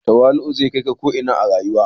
Tawali'u zai kai ka ko ina a rayuwa.